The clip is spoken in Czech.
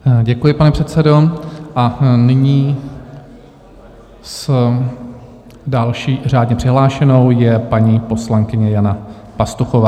Děkuji, pane předsedo, a nyní s další řádně přihlášenou je paní poslankyně Jana Pastuchová.